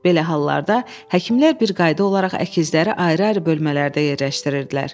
Belə hallarda həkimlər bir qayda olaraq əkizləri ayrı-ayrı bölmələrdə yerləşdirirdilər.